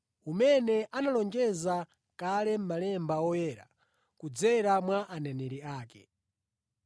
umene analonjeza kale mʼMalemba Oyera kudzera mwa aneneri ake.